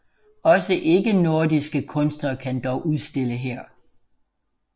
Også ikke nordiske kunstnere kan dog udstille her